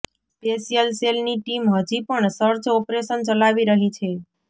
special સેલની team હજી પણ સર્ચ ઓપરેશન ચલાવી રહી છે